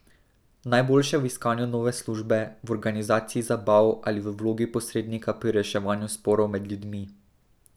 Najboljše v iskanju nove službe, v organizaciji zabav ali v vlogi posrednika pri reševanju sporov med ljudmi.